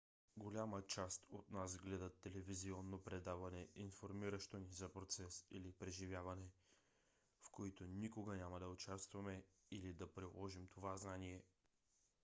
голяма част от нас гледат телевизионно предаване информиращо ни за процес или преживяване в които никога няма да участваме или да приложим това знание